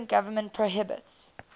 cuban government prohibits